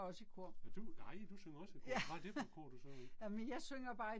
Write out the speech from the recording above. Nej du nej du synger også i kor, hvad er det for et kor du synger i?